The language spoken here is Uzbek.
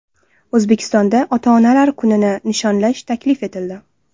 O‘zbekistonda ota-onalar kunini nishonlash taklif etildi.